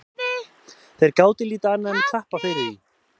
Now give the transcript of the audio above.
Þeir gátu lítið annað enn klappað fyrir því.